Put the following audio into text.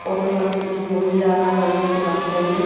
Auto -র পাশে কিছু মহিলা দাঁড়িয়ে আছে বাচ্চা নিয়ে।